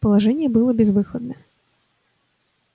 положение было безвыходное